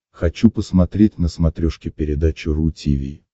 хочу посмотреть на смотрешке передачу ру ти ви